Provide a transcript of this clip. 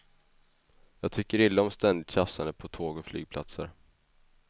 Jag tycker illa om ständigt tjafsande på tåg och flygplatser.